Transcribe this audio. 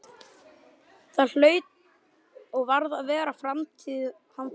Það hlaut og varð að vera framtíð handa okkur.